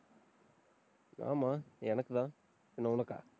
ஆமா, எனக்குதான். பின்ன, உனக்கா?